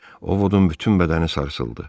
Ovodun bütün bədəni sarsıldı.